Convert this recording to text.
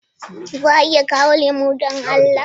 Za a iya kawo lemo don Allah?